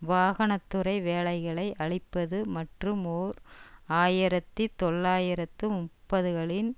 வாகன துறை வேலைகளை அழிப்பது மற்றும் ஓர் ஆயிரத்தி தொள்ளாயிரத்து முப்பதுகளின்